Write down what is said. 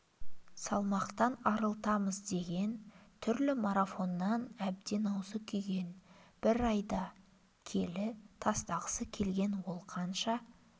салмақтан арылтамыз деген түрлі марафоннан әбден аузы күйген бір айда келі тастағысы келген ол қанша